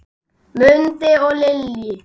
Mundi og Lillý.